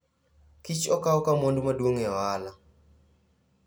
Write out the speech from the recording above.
Kich okaw ka mwandu maduo'ng e ohala.